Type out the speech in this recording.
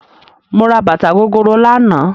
Mo ra bàtà gogoro lánàá